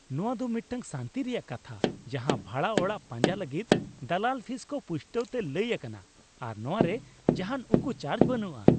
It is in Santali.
ᱱᱚᱶᱟ ᱫᱚ ᱢᱤᱫᱴᱟᱝ ᱥᱟᱹᱱᱛᱤ ᱨᱮᱭᱟᱜ ᱠᱟᱛᱷᱟ ᱡᱟᱦᱟᱸ ᱵᱷᱟᱲᱟ ᱚᱲᱟᱜ ᱯᱟᱸᱡᱟ ᱞᱟᱹᱜᱤᱫ ᱫᱟᱞᱟᱞ ᱯᱷᱤᱥ ᱠᱚ ᱯᱩᱥᱴᱟᱹᱣ ᱛᱮ ᱞᱟᱹᱭ ᱟᱠᱟᱱᱟ ᱟᱨ ᱱᱚᱣᱟᱨᱮ ᱡᱟᱦᱟᱱ ᱩᱠᱩ ᱪᱟᱨᱡ ᱵᱟᱹᱱᱩᱜᱼᱟ ᱾